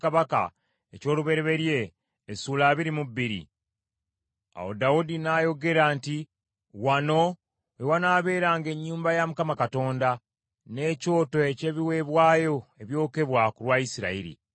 Awo Dawudi n’ayogera nti, “Wano we wanaabeeranga ennyumba ya Mukama Katonda, n’ekyoto eky’ebiweebwayo ebyokebwa ku lwa Isirayiri.”